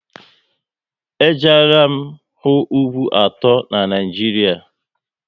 E jeela m hụ ugwu atọ n'Naijiria